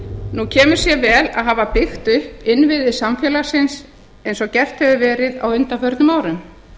nú kemur sér vel að hafa byggt upp innviði samfélagsins eins og gert hefur verið á undanförnum árum